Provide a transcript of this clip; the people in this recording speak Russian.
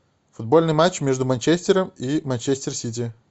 футбольный матч между манчестером и манчестер сити